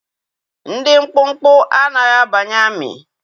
Ndị mkpụmkpụ anaghị abanye amị